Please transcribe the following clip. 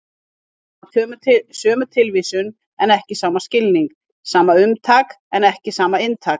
Þau hafa sömu tilvísun en ekki sama skilning, sama umtak en ekki sama inntak.